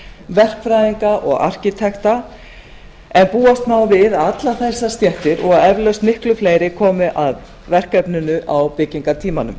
verkfræðinga og arkítekta en búast má við að allar þessar stéttir og eflaust miklu fleiri komið að verkefninu á byggingartímanum